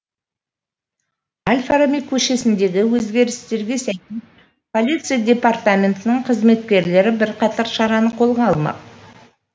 әл фараби көшесіндегі өзгерістерге сәйкес полиция департаментінің қызметкерлері бірқатар шараны қолға алмақ